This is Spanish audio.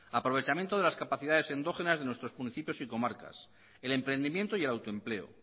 aprovechamiento de las capacidades endógenas de nuestros municipios y comarcas el emprendimiento y el autoempleo